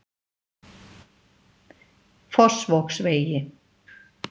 Fossvogsvegi